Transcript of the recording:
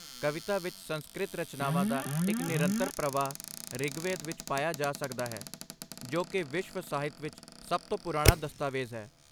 ਕਵਿਤਾ ਵਿੱਚ ਸੰਸਕ੍ਰਿਤ ਰਚਨਾਵਾਂ ਦਾ ਇੱਕ ਨਿਰੰਤਰ ਪ੍ਰਵਾਹ ਰਿਗਵੇਦ ਵਿੱਚ ਪਾਇਆ ਜਾ ਸਕਦਾ ਹੈ, ਜੋ ਕਿ ਵਿਸ਼ਵ ਸਾਹਿਤ ਵਿੱਚ ਸਭ ਤੋਂ ਪੁਰਾਣਾ ਦਸਤਾਵੇਜ਼ ਹੈ।